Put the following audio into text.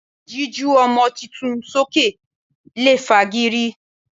Jíju ọmọ tuntun sókè lè fa gìrì.